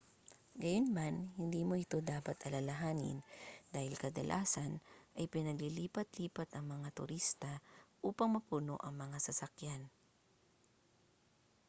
gayunman hindi mo ito dapat alalahanin dahil kadalasan ay pinaglilipat-lipat ang mga turista upang mapuno ang mga sasakyan